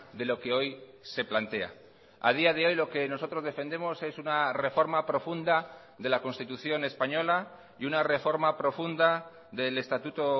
de lo que hoy se plantea a día de hoy lo que nosotros defendemos es una reforma profunda de la constitución española y una reforma profunda del estatuto